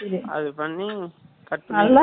அது பண்ணி, cut பண்ணி